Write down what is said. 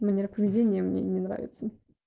манера поведения мне не нравится